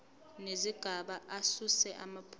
nezigaba asuse amaphutha